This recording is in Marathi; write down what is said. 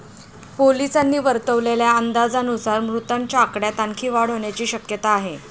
पोलिसांनी वर्तवलेल्या अंदाजानुसार मृतांच्या आकड्यात आणखी वाढ होण्याची शक्यता आहे.